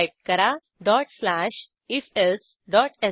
type करा dot slash ifelseश